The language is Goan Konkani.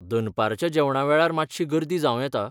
दनपारच्या जेवणा वेळार मात्शी गर्दी जांव येता.